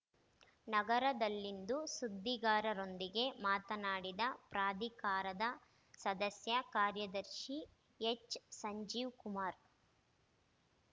ನಗರದಲ್ಲಿಂದು ಸುದ್ದಿಗಾರರೊಂದಿಗೆ ಮಾತನಾಡಿದ ಪ್ರಾಧಿಕಾರದ ಸದಸ್ಯ ಕಾರ್ಯದರ್ಶಿ ಹೆಚ್ ಸಂಜೀವ್ ಕುಮಾರ್